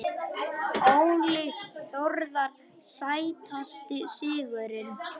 Óli Þórðar Sætasti sigurinn?